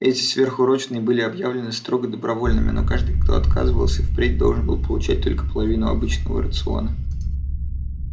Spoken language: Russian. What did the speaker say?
эти сверхурочные были объявлены строго добровольными но каждый кто отказывался впредь должен был получать только половину обычного рациона